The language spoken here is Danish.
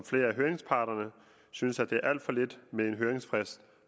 flere af høringsparterne synes at det er alt for lidt med en høringsfrist